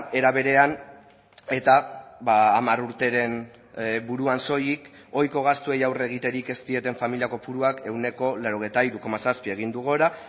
era berean eta hamar urteren buruan soilik ohiko gastuei aurre egiterik ez dieten familia kopuruak ehuneko laurogeita hiru koma zazpi egin du gora